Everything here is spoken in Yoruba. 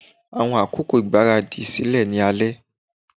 Awọn akoko igbaradi ṣẹlẹ ni alẹ